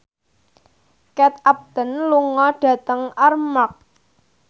Kate Upton lunga dhateng Armargh